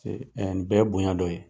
Ee nin bɛɛ ye bonya dɔ ye